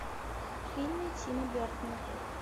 фильмы тима бертона